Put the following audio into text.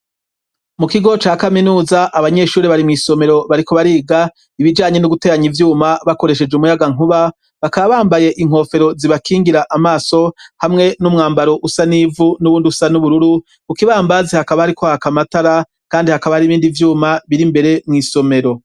Mu kigo ca kaminuza abanyeshuri bari mw'isomero bariko bariga ibijanye n'uguteyanya ivyuma bakoresheje umuyaga nkuba bakabambaye inkofero zibakingira amaso hamwe n'umwambaro usa n'ivu n'uwundi usa n'ubururu ukibambazi hakaba hariko hakamatara, kandi hakaba ari ibindi vyuma biri imbere mw'isomero.